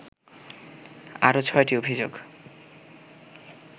আরও ছয়টি অভিযোগ